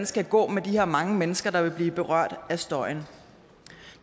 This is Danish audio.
skal gå med de her mange mennesker der vil blive berørt af støjen